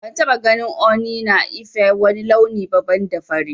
Ban taba ganin Ooni na Ife ã wani launi ba banda fari.